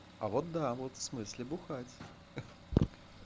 а вот да вот в смысле бухать